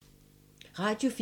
Radio 4